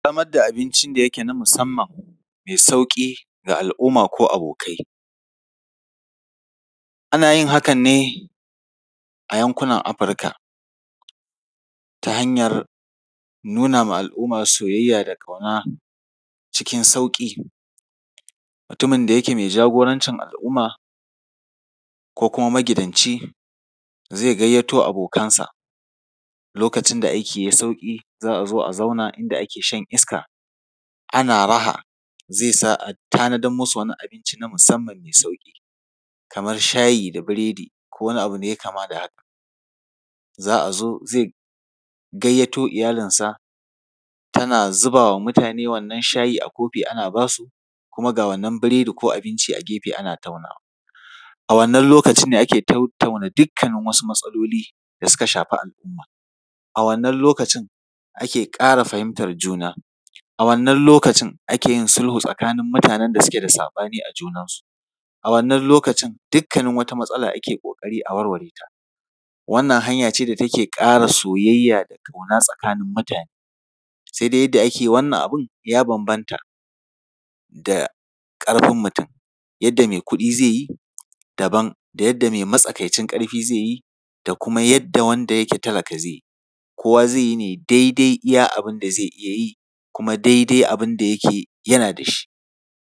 Samar da abincin da yake na musamman, mai sauƙi ga al’umma ko abokai. Ana yin hakan ne a yankunan Afirka, ta hanyar nuna ma al’umma soyayya da ƙauna cikin sauƙi. Mutumin da yake mai jagorancin al’umma ko kuma magidanci, zai gayyato abokansa, lokacin da aiki ya yi sauƙi, za a zo a zauna inda ake shan iska, ana raha, zai sa a tanadar musu da wani abinci na musamman mai sauƙi. Kamar shayi da biredi ko wani abu da ya yi kama da haka. Za a zo, zai gayyato iyalinsa, tana zuba wa mutane wannan shayi a kofi, ana ba su, kuma ga wannan biredi ko abinci ana taunawa. A wannan lokacin ne ake tattauna dukkanin wasu matsaloli da suka shafi al’umma. A wannan lokacin ake ƙara fahimtar juna. A wannan lokacin ake sulhu tsakanin mutanen da suke da saɓani a junansu. A wannan lokacin dukkanin wata matsala ake ƙoƙari a warware ta. Wannan hanya ce da take ƙara soyayya da ƙauna tsakanin mutane. Si dai yadda ake wannan abin ya bambanta da ƙarfin mutum. Yadda mai kuɗi zai yi daban, yadda mai matsakaicin ƙarfi zai yi da kuma yadda wanda ke talaka zai yi. Kowa zai yi ne daidai yadda zai iya yi kuma daidai abin da yake yana da shi.